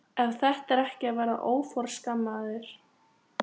Ef þetta er ekki að vera óforskammaður!!